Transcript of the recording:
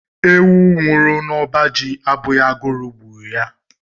Ewu nwụrụ n'ọba ji abụghị agụrụ gburu ya.